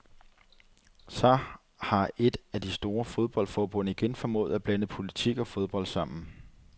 Så har et af de store fodboldforbund igen formået at blande politik og fodbold sammen.